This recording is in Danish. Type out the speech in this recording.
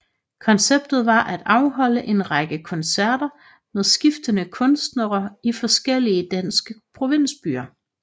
Konceptet var at afholde en række koncerter med skiftende kunstnere i forskellige danske provinsbyer